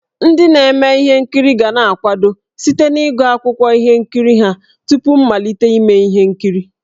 Ndị na-eme ihe nkiri ga-akwado site n'ịgụ akwụkwọ ihe nkiri ha tupu mmalite ime ihe nkiri.